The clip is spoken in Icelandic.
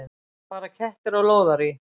Fara kettir á lóðarí?